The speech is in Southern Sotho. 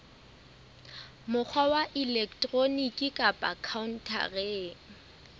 mokgwa wa elektroniki kapa khaontareng